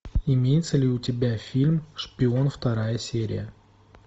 имеется ли у тебя фильм шпион вторая серия